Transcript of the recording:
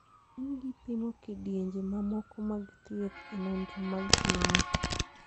Ng'enygi pimo kidienje mamoko mag thieth e nonro mag klinik